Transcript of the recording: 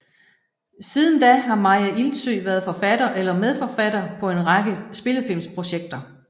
Siden da har Maya Ilsøe været forfatter eller medforfatter på en række spillefilmsprojekter